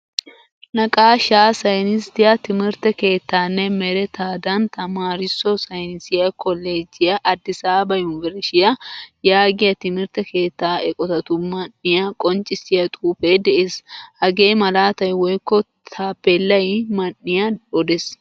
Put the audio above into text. Naqqaashsha saynisiytaa timirtte keettanne merettaand tamaarisso saynisiyaa kollojjiyaa addisaba yunvrsshiyaa yaagiyaa timirtte keettaa eqqotatu man'iyaa qonccisiyaa xuufe de'ees. Hage malaatay woykko tapelay man'iya odees.